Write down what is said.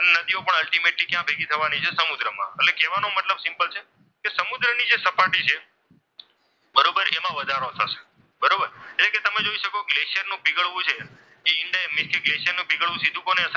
નદીઓ પણ અલ્ટીમેટલી ક્યાં પૈકી થવાની છે સમુદ્રમાં. એટલે કહેવાનો મતલબ સિમ્પલ છે કે સમુદ્રની જે સપાટી છે. બરોબર એમાં વધારો થશે. બરોબર એટલે કે તમે જોઈ શકો કલેશરનું પીગળવું છે